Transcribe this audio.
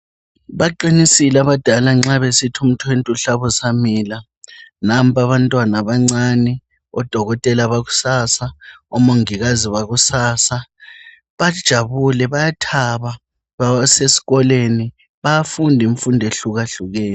Baqinisile abadala nxa besithi umthwentwe uhlaba usamila. Nampa abantwana abancane, odokotela bakusasa, omongikazi bakusasa. Bajabule, bayathaba, basesikolweni. Bayafunda imfundo ehlukahlukene.